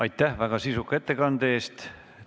Aitäh väga sisuka ettekande eest!